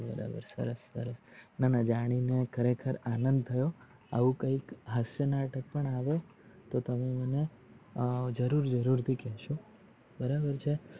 બરાબર સરસ સરસ ના ના જાણી ને ખરેખર આનંદ થયો આવું કઈક હાસ્ય નાટક પણ આવે તો તમે મને જરૂર જરૂર થી કહસો બરાબર છે